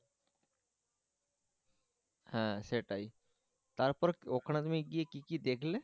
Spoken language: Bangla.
হ্যাঁ সেটাই তারপর ওখানে তুমি গিয়ে কি কি দেখলে